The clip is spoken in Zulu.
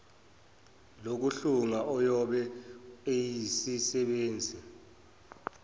lokuhlunga oyobe eyisisebenzi